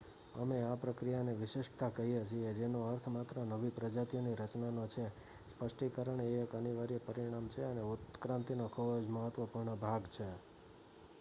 અમે આ પ્રક્રિયાને વિશિષ્ટતા કહીએ છીએ જેનો અર્થ માત્ર નવી પ્રજાતિઓની રચનાનો છે સ્પષ્ટીકરણ એ એક અનિવાર્ય પરિણામ છે અને ઉત્ક્રાંતિનો ખૂબ જ મહત્વપૂર્ણ ભાગ છે